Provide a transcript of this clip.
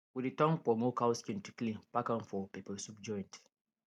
we dey turn kpomo cow skin to clean pack am for pepper soup joint